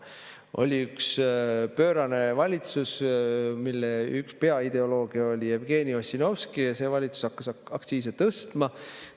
Oli üks pöörane valitsus, mille peaideolooge oli Jevgeni Ossinovski, ja see valitsus hakkas aktsiise tõstma.